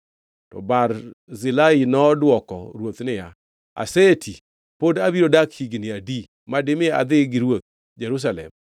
To Barzilai nodwoko ruoth niya, “Aseti, pod abiro dak higni adi, madimi adhi gi ruoth Jerusalem?